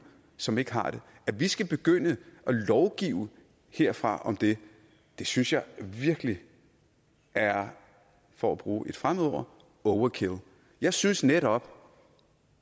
som ikke har det at vi skal begynde at lovgive herfra om det det synes jeg virkelig er for at bruge et fremmedord overkill jeg synes netop